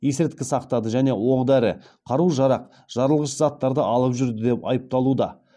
есірткі сақтады және оқ дәрі қару жарақ жарылғыш заттарды алып жүрді деп айыпталуда